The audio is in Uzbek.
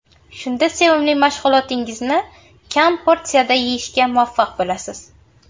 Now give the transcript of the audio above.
Shunda sevimli mahsulotingizni kam porsiyada yeyishga muvaffaq bo‘lasiz.